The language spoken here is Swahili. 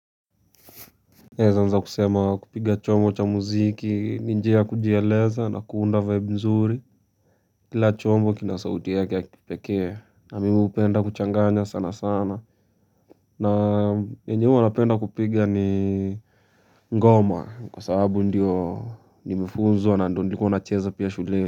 Naweza nza kusema kupiga chombo cha muziki, ni njia kujieleza na kuunda vibe nzuri, kila chombo kina sauti yake ya kipekee, na mimi penda kuchanganya sana sana, na yenye huwa napenda kupiga ni ngoma, kwa sababu ndiyo nime funzwa na ndio ndio nacheza pia shule.